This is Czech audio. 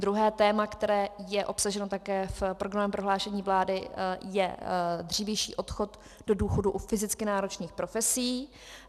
Druhé téma, které je obsaženo také v programovém prohlášení vlády, je dřívější odchod do důchodu u fyzicky náročných profesí.